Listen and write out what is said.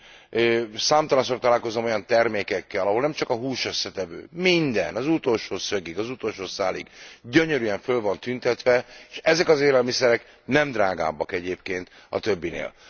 Én számtalanszor találkozom olyan termékekkel, ahol nem csak a húsösszetevők, hanem minden, az utolsó szögig, az utolsó szálig gyönyörűen föl van tüntetve és ezek az élelmiszerek nem drágábbak egyébként a többinél.